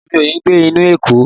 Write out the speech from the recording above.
Mi ò le gbé ní ìlú Èkó.